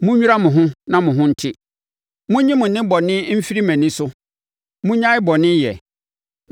“Monnwira mo ho na mo ho nte. Monnyi mo nnebɔne mfiri mʼani so! Monnyae bɔne yɛ.